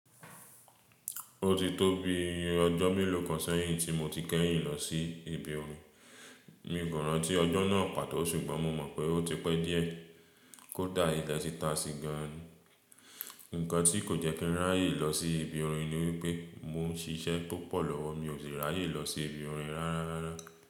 Ó ti tó bi ọjọ́ mélòó kan sẹ́yìn tí mo ti kẹ́yìn lọ sí ibi orin. Mi o rántí ọjọ́ náà pàtó ṣùgbọ́n mo mọ̀ pé ó ti pẹ́ díẹ̀. Kódà ilẹ̀ ti ta sí gan an. Ǹkan tí kò jẹ́ kí n ráyè lọ sí ibi orin ni wípé mo ń ṣiṣẹ́ púpọ̀ lọ́wọ́, mi ò le ráyè lọ sí ibi orin rárá.